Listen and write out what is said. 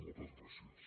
moltes gràcies